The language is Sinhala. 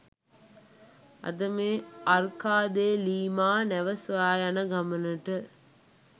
අද මේ අර්කා දේ ලීමා නැව සොයා යන ගමනට